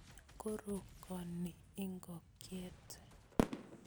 Korokoni ikokyet